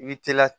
I bɛ teliya